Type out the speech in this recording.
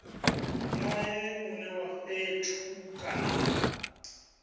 nea mune wa fhethu kana